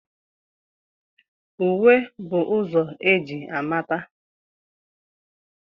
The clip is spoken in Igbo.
Uwe bụ ụzọ e ji amata.